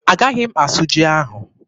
Agaghị m asụ ji ahụ.